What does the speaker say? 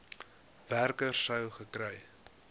werker sou gekry